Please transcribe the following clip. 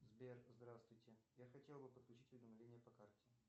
сбер здравствуйте я хотел бы подключить уведомления по карте